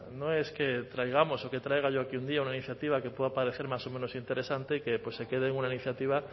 no es que traigamos o que traiga yo aquí un día una iniciativa que pueda parecer más o menos interesante y que se quede en una iniciativa